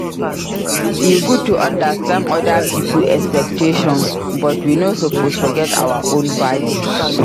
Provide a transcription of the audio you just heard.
E good to understand oda pipo expectations but we no suppose forget our own values.